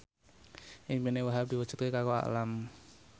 impine Wahhab diwujudke karo Alam